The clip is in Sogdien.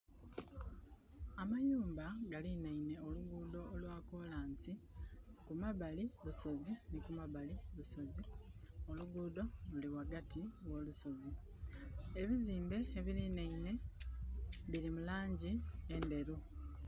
Amayumba galinhainhe oluguudho olwa kolansi. Kumabali lusozi nhi kumabali lusozi. Oluguudho luli ghaghati gho lusozi. Ebizimbe ebilinhainhe bili mu laangi endheru.